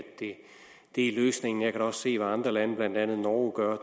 det er løsningen jeg også se hvad andre lande blandt andet norge gør og